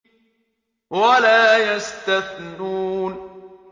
وَلَا يَسْتَثْنُونَ